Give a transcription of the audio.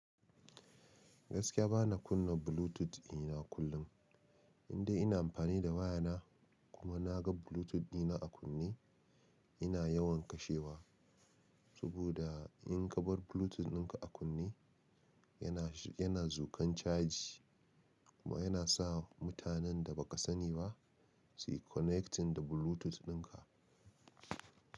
Gaskiya bana kunna Bluetooth ina kullum, indai ina amfani da wayana kuma na ga Bluetooth ɗina a kunne ina yawan kashewa. Saboda in ka bar Bluetooth dinka a kunne yana-- yana zukan caji kuma yana sa mutanen da ba ka sani ba suyi connecting da Bluetooth dinka.